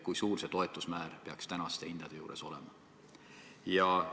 Kui suur see toetuse määr peaks tänaste hindade korral olema?